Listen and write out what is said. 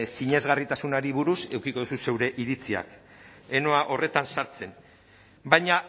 sinesgarritasunari buruz edukiko duzu zeure iritziak ez noa horretan sartzen baina